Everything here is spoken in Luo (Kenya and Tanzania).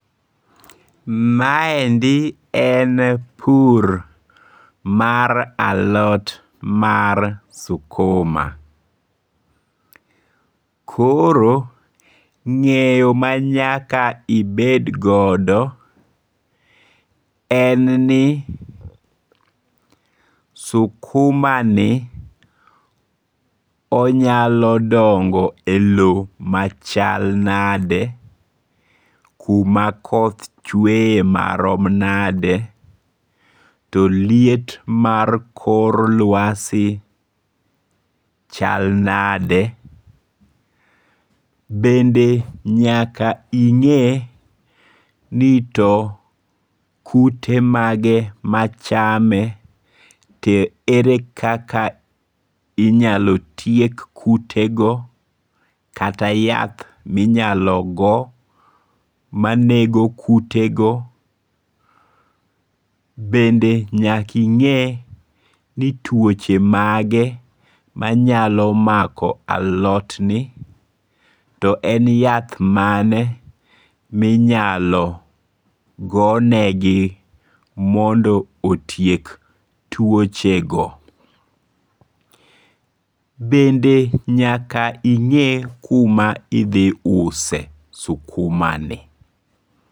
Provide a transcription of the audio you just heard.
Maendi en pur mar alot mar sukuma, koro nge'yo ma nyaka ibed godo en ni sukumani onyalo dongo' e lowo machal nade, kuma koth chewe marom nade, to liet mar kor lwasi chal nade, bende nyaka ing'e ni to kute mage machame, to ere kaka inyalo tiek kutego kata yath minyalo go manego kutego, bende nyaka inge ni twoche mage manyalo mako alotni to en yath mane minyalo gonegi mondo otiek twochego, bende nyaka inge' kuma idhiuse skumani.